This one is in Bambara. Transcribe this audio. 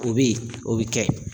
O bi o bɛ kɛ.